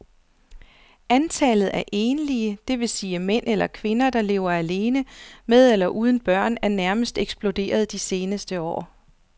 Antallet af enlige, det vil sige mænd eller kvinder, der lever alene med eller uden børn er nærmest eksploderet de seneste år.